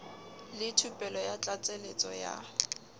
le thupelo ya tlatsetso ya